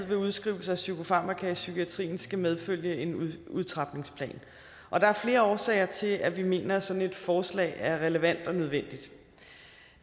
ved udskrivelse af psykofarmaka i psykiatrien altid skal medfølge en udtrapningsplan og der er flere årsager til at vi mener at sådan et forslag er relevant og nødvendigt